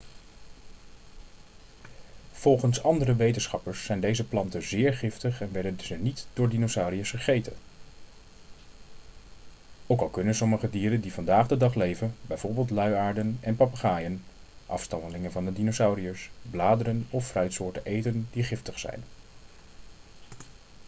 volgens andere wetenschappers zijn deze planten zeer giftig en werden ze niet door dinosauriërs gegeten. ook al kunnen sommige dieren die vandaag de dag leven bijvoorbeeld luiaarden en papegaaien afstammelingen van de dinosauriërs bladeren of fruitsoorten eten die giftig zijn